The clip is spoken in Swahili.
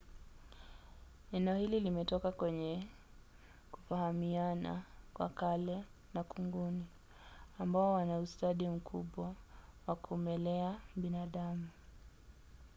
nenohili limetoka kwenye kufahamiana kwa kale na kunguni ambao wana ustadi mkubwa wa kumelea binadamu